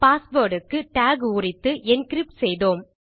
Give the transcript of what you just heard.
password க்கு டாக் உரித்து என்கிரிப்ட் செய்தோம்